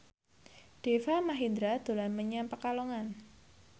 Deva Mahendra dolan menyang Pekalongan